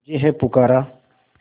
तुझे है पुकारा